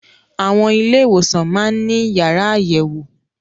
Àwọn ilé ìwòsàn máá ń ní yàrá àyẹ̀wò